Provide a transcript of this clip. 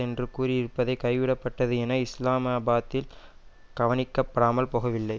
என்று கூறியிருப்பதை கைவிடப்பட்டது என்பது இஸ்லாமாபாத்தில் கவனிக்கபடாமல் போகவில்லை